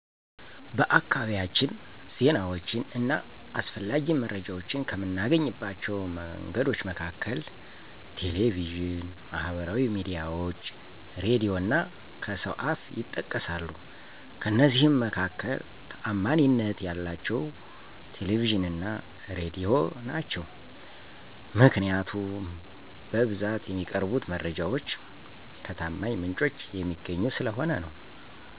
በአካባቢያችን ዜናዎችን እና አስፈላጊ መረጃዎችን ከምናገኝባቸው መንገዶች መካከል ቴሌቪዥን፣ ማህበራዊ ሚዲያዎች፣ ሬዲዮ እና ከሰው አፍ ይጠቀሳሉ፤ ከእነዚህ መካከል ታዓማኒነት ያላቸው ቴሌቪዥን እና ሬዲዮ ናቸው። ምክንያቱም በብዛት የሚቀርቡት መረጃዎች ከታማኝ ምንጭ የሚገኙ ስለሆኑ ነው።